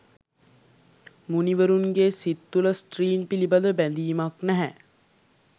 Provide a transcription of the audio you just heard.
මුණිවරුන්ගේ් සිත් තුළ ස්ත්‍රීන් පිළිබඳ බැඳීමක් නැහැ.